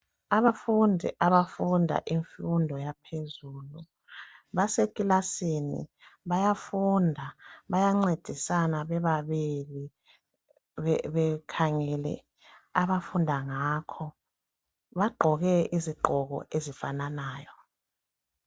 Abafundi abafunda imfundo yaphezulu basekilasini bayafunda bayancedisana bebabili bekhangele abafunda ngakho, bagqoke izigqoko ezifananayo.